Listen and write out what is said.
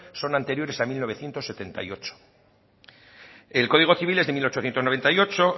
son anteriores a mil novecientos setenta y ocho el código civil es de mil ochocientos noventa y ocho